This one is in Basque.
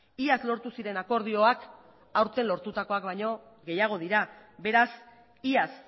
iaz lortu ziren akordioak aurten lortutakoak baino gehiago dira beraz iaz